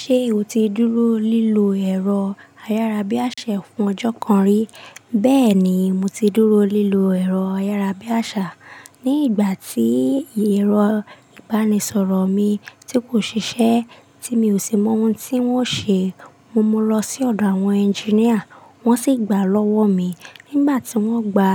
Ṣé o ti dúró lílọ ẹ̀rọ ayárábiàṣá fún ọjọ́ kan rí? Bẹ́ẹ̀ ni, mo ti dúró lílọ ẹ̀rọ ayárábiàṣá. Ni ìgbà tí ẹ̀rọ ìbánisọ̀rọ̀ mi tí kò ṣiṣẹ́, tí mi ò sì mọ ohun tí wọ́n ṣe, mo mú un lọ sí ọ̀dọ̀ àwọn ẹnjíníà, wọ́n sì gbà lọ́wọ́ mi. Nígbà tí wọ́n gba,